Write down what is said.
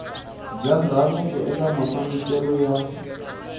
bya ndhavuko eka mafambiselo ya